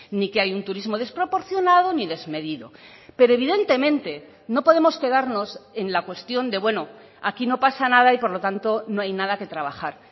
ni que hay un turismo desproporcionado ni desmedido pero evidentemente no podemos quedarnos en la cuestión de bueno aquí no pasa nada y por lo tanto no hay nada que trabajar